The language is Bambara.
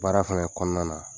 Baara fana kɔnɔna na